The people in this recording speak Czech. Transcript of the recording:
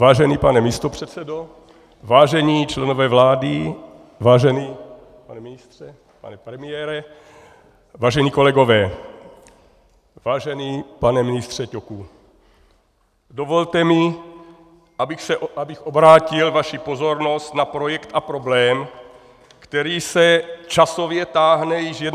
Vážený pane místopředsedo, vážení členové vlády, vážený pane ministře, pane premiére, vážení kolegové, vážený pane ministře Ťoku, dovolte mi, abych obrátil vaši pozornost na projekt a problém, který se časově táhne již 21 let.